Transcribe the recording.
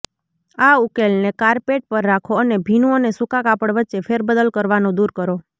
આ ઉકેલને કારપેટ પર રાખો અને ભીનું અને સૂકા કાપડ વચ્ચે ફેરબદલ કરવાનું દૂર કરો